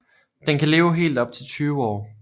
Den kan leve helt op til 20 år